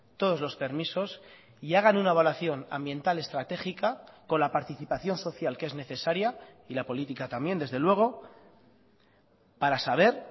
todos los permisos y hagan una evaluación ambiental estratégica con la participación social que es necesaria y la política también desde luego para saber